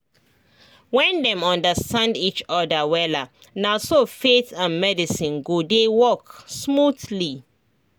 when dem understand each other wella naso faith and medicine go dey work smoothly